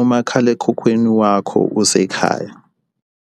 umakhalekhukhwini wakho usekhaya.